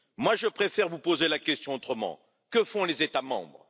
Moi, je préfère vous poser la question autrement Que font les États membres?